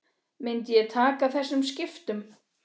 Myndi ég taka þessum skiptum?